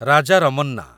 Raja Ramana